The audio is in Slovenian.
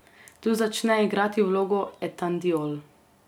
Tu začne igrati vlogo etandiol.